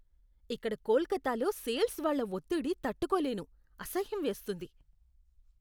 ఇక్కడ కోల్కతాలో సేల్స్ వాళ్ళ ఒత్తిడి తట్టుకోలేను. అసహ్యం వేస్తుంది.